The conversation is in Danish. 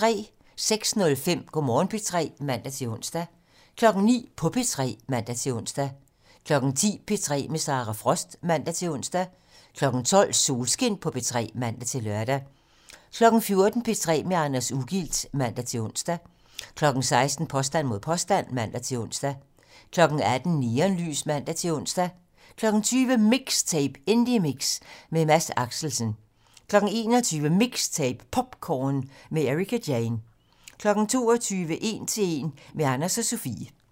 06:05: Go' Morgen P3 (man-ons) 09:00: På P3 (man-ons) 10:00: P3 med Sara Frost (man-ons) 12:00: Solskin på P3 (man-lør) 14:00: P3 med Anders Ugilt (man-ons) 16:00: Påstand mod påstand (man-ons) 18:00: Neonlys (man-ons) 20:00: MIXTAPE - Indiemix med Mads Axelsen 21:00: MIXTAPE - POPcorn med Ericka Jane 22:00: 1 til 1 - med Adnan og Sofie (man)